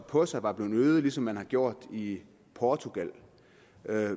på sig var blevet øget ligesom man har gjort i portugal